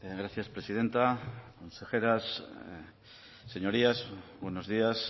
gracias presidenta consejeras señorías buenos días